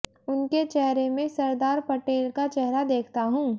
उनके चेहरे में सरदार पटेल का चेहरा देखता हूं